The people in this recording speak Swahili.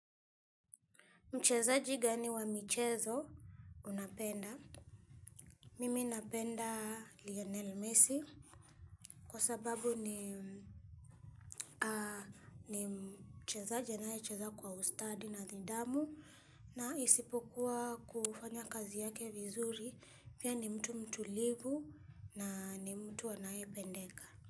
Mchezaji gani wa michezo unapenda. Mimi napenda Lionel Messi kwa sababu ni mchezaji anaye cheza kwa usitadi na nidhamu na isipokuwa kufanya kazi yake vizuri pia ni mtu mtulivu na ni mtu anayependeka.